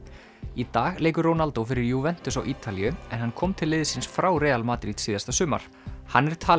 í dag leikur Ronaldo fyrir á Ítalíu en hann kom til liðsins frá Real Madrid síðasta sumar hann er talinn